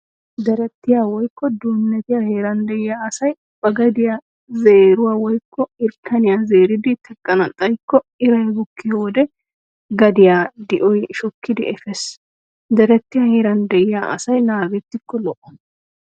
Deretiyaa woykko duunnetiyaa heeran de'iyaa asay ba gadiyaa zeeruwaa woykko irkkaniyaa zeeridi teqqana xayikko iray bukkiyo wode gadiyaa di'oy shokkidi efees. Deretiyaa heeran de'iyaa asay naagettikko lo'o.